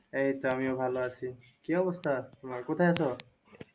এই তো আমিও ভালো আছি। কি অবস্থা তোমার? কোথায় আছো?